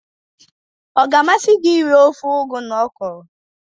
Ọ ga-amasị gị iri ofe ugu na ọkwụrụ?